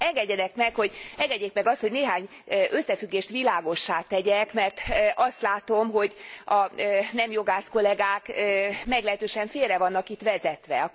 Engedjék meg azt, hogy néhány összefüggést világossá tegyek, mert azt látom, hogy a nem jogász kollegák meglehetősen félre vannak itt vezetve.